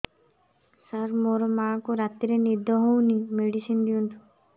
ସାର ମୋର ମାଆଙ୍କୁ ରାତିରେ ନିଦ ହଉନି ମେଡିସିନ ଦିଅନ୍ତୁ